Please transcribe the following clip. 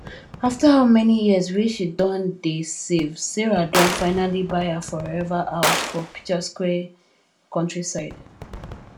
after how many years wey she don dey savesarah don finally buy her forever house for picturesque countryside